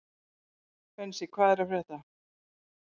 Bensi, hvað er að frétta?